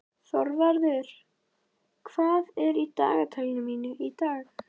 Þorvarður, hvað er í dagatalinu mínu í dag?